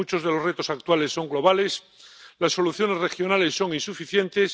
Muchos de los retos actuales son globales las soluciones regionales son insuficientes.